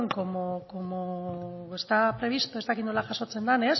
como estaba previsto ez dakit nola jasotzen den